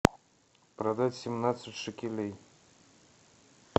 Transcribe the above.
продать семнадцать шекелей